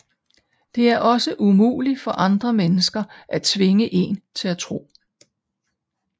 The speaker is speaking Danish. Det er også umuligt for andre mennesker at tvinge én til at tro